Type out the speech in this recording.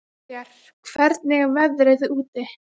Veigar, hvernig er veðrið úti?